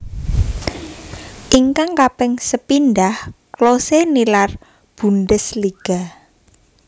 Ingkang kaping sepindhah Klose nilar Bundesliga